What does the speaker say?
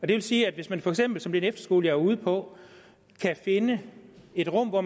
det vil sige at hvis man for eksempel som på den efterskole jeg var ude på kan finde et rum og